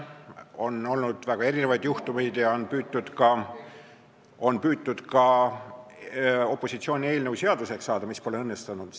On olnud väga erinevaid juhtumeid ja on püütud ka opositsiooni eelnõu seaduseks teha, mis pole õnnestunud.